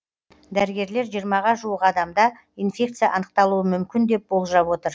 дәрігерлер жиырмаға жуық адамда инфекция анықталуы мүмкін деп болжап отыр